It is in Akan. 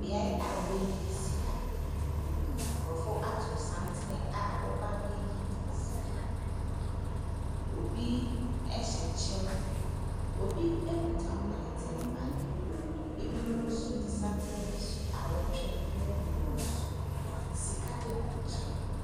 Bea a wɔyi sika, nkorɔfoɔ ato santene a wɔɔba abɛyi sika, obi ɛhyɛ kyɛw, obi ekuta pɔleten baag, ebimo nso di santene ne so a ɔɔtwɛn na aduru wɔn so, sika egu nkyɛn.